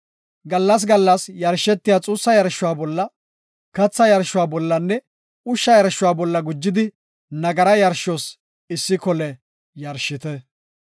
Gallas gallas yarshetiya xuussa yarshuwa bolla, katha yarshuwa bollanne ushsha yarshuwa bolla gujidi nagara yarshos issi kole yarshite.